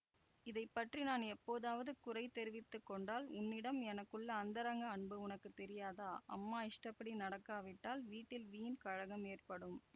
இதை பற்றி நான் எப்போதாவது குறை தெரிவித்து கொண்டால் உன்னிடம் எனக்குள்ள அந்தரங்க அன்பு உனக்கு தெரியாதா அம்மா இஷ்டப்படி நடக்காவிட்டால் வீட்டில் வீண் கலகம் ஏற்படும்